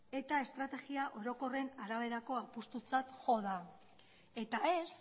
eta estrategia orokorren araberako apustutzat jo da eta ez